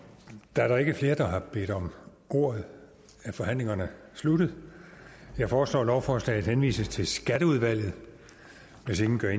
da der ikke er flere der har bedt om ordet er forhandlingen sluttet jeg foreslår at lovforslaget henvises til skatteudvalget hvis ingen gør